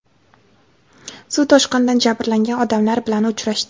suv toshqinidan jabrlangan odamlar bilan uchrashdi.